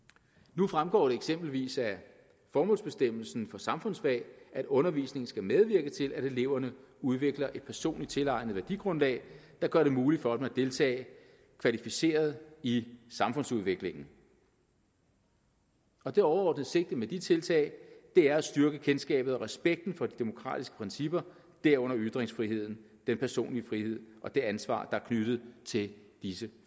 nu fremgår det eksempelvis af formålsbestemmelsen for samfundsfag at undervisningen skal medvirke til at eleverne udvikler et personligt tilegnet værdigrundlag der gør det muligt for dem at deltage kvalificeret i samfundsudviklingen det overordnede sigte med de tiltag er at styrke kendskabet til og respekten for de demokratiske principper derunder ytringsfriheden den personlige frihed og det ansvar er knyttet til disse